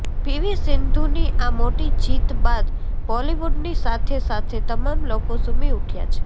PV સિન્ધુની આ મોટી જીત બાદ બોલિવુડની સાથે સાથે તમામ લોકો ઝુમી ઉઠ્યા છે